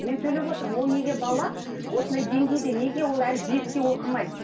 мен төлеп отырмын ол неге бала осындай деңгейде неге ол әлі беске оқымайды